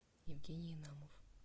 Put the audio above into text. евгений инамов